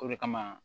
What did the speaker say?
O de kama